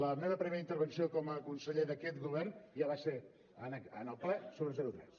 la meva primera intervenció com a conseller d’aquest govern ja va ser en el ple sobre el zero tres